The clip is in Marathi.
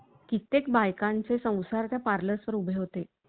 कित्येक बायकांचे संसार त्या पार्लर वर उभे होते.